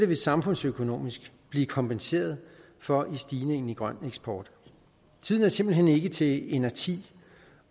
der samfundsøkonomisk blive kompenseret for ved stigningen i den grønne eksport tiden er simpelt hen ikke til inerti